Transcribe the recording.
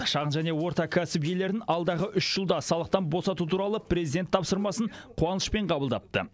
шағын және орта кәсіп иелерін алдағы үш жылда салықтан босату туралы президент тапсырмасын қуанышпен қабылдапты